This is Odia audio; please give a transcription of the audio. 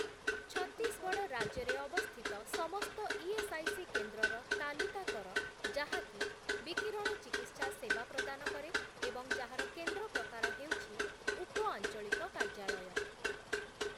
ଛତିଶଗଡ଼ ରାଜ୍ୟରେ ଅବସ୍ଥିତ ସମସ୍ତ ଇଏସ୍ଆଇସି କେନ୍ଦ୍ରର ତାଲିକା କର ଯାହାକି ବିକିରଣଚିକିତ୍ସା ସେବା ପ୍ରଦାନ କରେ ଏବଂ ଯାହାର କେନ୍ଦ୍ର ପ୍ରକାର ହେଉଛି ଉପଆଞ୍ଚଳିକ କାର୍ଯ୍ୟାଳୟ ।